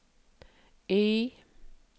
Y